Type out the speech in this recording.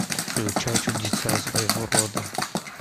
включай чудеса своего рода